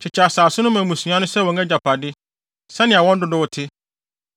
“Kyekyɛ asase no ma mmusua no sɛ wɔn agyapade, sɛnea wɔn dodow te.